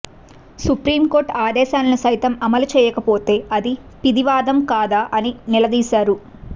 supreme court ఆదేశాలను సైతం అమలు చేయకపోతే అది పిడివాదం కాదా అని నిలదీశారు